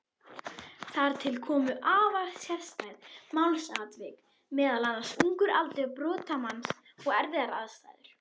Þar komu til afar sérstæð málsatvik, meðal annars ungur aldur brotamanns og erfiðar aðstæður.